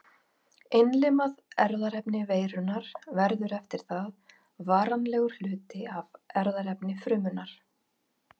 Innlimað erfðaefni veirunnar verður eftir það varanlegur hluti af erfðaefni frumunnar.